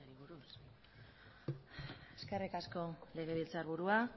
eskerrik asko legebiltzarburua